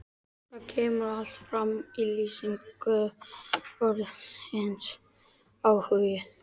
Þetta kemur allt fram í lýsingu orðsins áhugi